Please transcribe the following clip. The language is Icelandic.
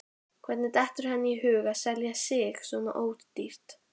Hvernig dettur henni í hug að selja sig svona ódýrt?